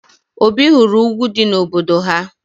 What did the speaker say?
Obi hụrụ ugwu dị n'obodo ha